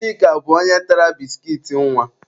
Chika bụ onye tara biskit nwa.